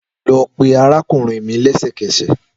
Lọ pe arakunrin mi lẹsẹkẹsẹ!